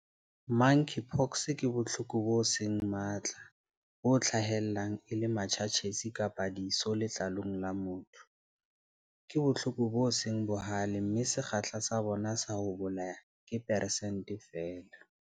Monkeypox ke bohloko bo seng matla, bo hlahellang e le matjhatjhetsi kapa diso letlalong la motho. Ke bohloko bo seng bohale mme sekgahla sa bona sa ho bolaya ke persente feela.